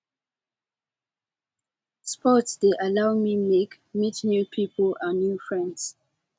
sports de allow me make meet new pipo and new friends